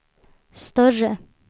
större